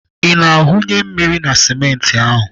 Ị na-awụnye mmiri na simenti ahụ?